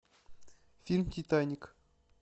фильм титаник